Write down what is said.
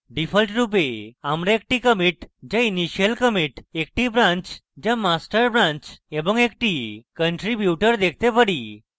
ডিফল্টরূপে আমরা একটি commit যা initial commit একটি branch যা master branch এবং একটি contributor দেখতে পারি